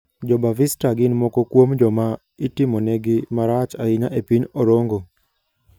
Jo-Bavista gin moko kuom joma itimonegi marach ahinya e piny Orongo.